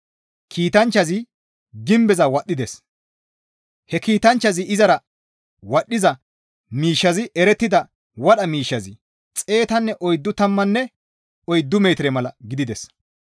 Kiitanchchazi gimbeza wadhdhides; he kiitanchchazi izara wadhdhiza miishshazi erettida wadha miishshazi xeetanne oyddu tammanne oyddu metire mala gidides.